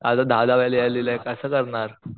आता दहा दहा वेळा लिहायला दिलाय सरांनी कस करणार.